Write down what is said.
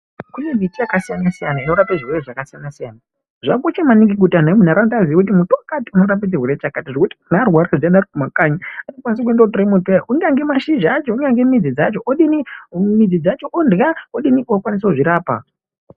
Kunemiti yakasiyana siyana inorape zvitenda zvakasiyana siyana zvakakosha maningi kuti antu emunharaunda azive kuti muti wakati unorape chirwere chakati zvekuti muntu arwara ari mumakanyi anokwanisa kuenda kunotora muti uya kunyangwe mashizha acho kunyange midzi dzacho orya ukwanise kudzirapa.